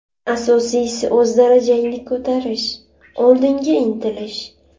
Asosiysi o‘z darajangni ko‘tarish, oldinga intilish.